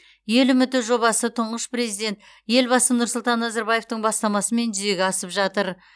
ел үміті жобасы тұңғыш президент елбасы нұрсұлтан назарбаевтың бастамасымен жүзеге асып жатыр